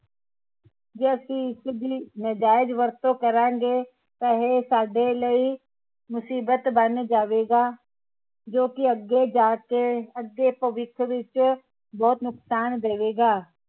ਜੇ ਅਸੀਂ ਇਸ ਦੀ ਨਾਜਾਇਜ਼ ਵਰਤੋਂ ਕਰਾਂਗੇ ਤਾ ਇਹ ਸਾਡੇ ਲਈ ਮੁਸੀਬਤ ਬਣ ਜਾਵੇਗਾ ਜੋ ਕਿ ਅੱਗੇ ਜਾਕੇ ਅੱਗੇ ਭਵਿੱਖ ਵਿਚ ਬਹੁਤ ਨੁਕਸਾਨ ਦੇਵੇਗਾ